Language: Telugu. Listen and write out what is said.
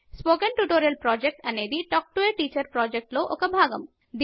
స్పోకెన్ ట్యుటోరియల్ ప్రాజెక్ట్ అనేది టాక్ టు ఎ టీచర్ ప్రాజెక్ట్లో ఒక భాగము